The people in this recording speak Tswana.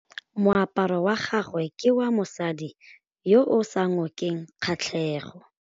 Moaparô wa gagwe ke wa mosadi yo o sa ngôkeng kgatlhegô.